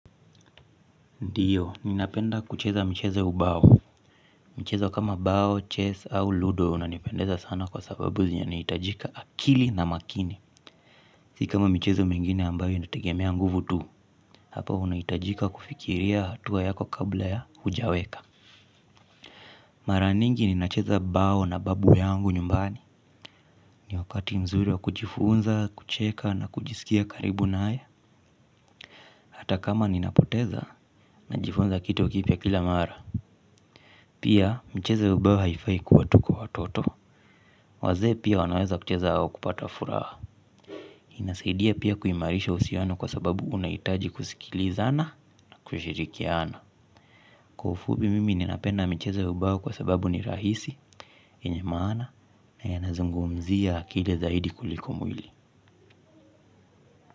Ndiyo, ninapenda kucheza mchezo ya ubao. Mcheza kama bao, chess au ludo unanipendeza sana kwa sababu zinahitajika akili na makini. Si kama michezo mengine ambayo inategemea nguvu tu. Hapo unahitajika kufikiria hatua yako kabla ya hujaweka. Mara nyingi ninacheza bao na babu yangu nyumbani. Ni wakati mzuri wa kujifunza, kucheka na kujisikia karibu na haya. Hata kama ninapoteza, najifunza kitu kipya kila mara. Pia mchezo ya ubao haifai kuwa tu kwa watoto. Wazee pia wanaweza kucheza au kupata furaha. Inasaidia pia kuimarisha uhusiano kwa sababu unahitaji kusikilizana na kushirikiana. Kwa ufupi mimi ninapenda michezo ya ubao kwa sababu ni rahisi yenye maana na yanazungumzia akili zaidi kuliko mwili.